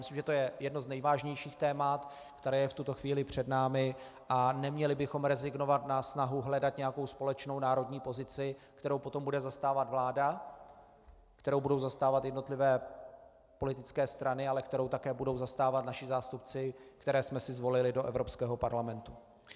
Myslím, že to je jedno z nejvážnějších témat, které je v tuto chvíli před námi, a neměli bychom rezignovat na snahu hledat nějakou společnou národní pozici, kterou potom bude zastávat vláda, kterou budou zastávat jednotlivé politické strany, ale kterou také budou zastávat naši zástupci, které jsme si zvolili do Evropského parlamentu.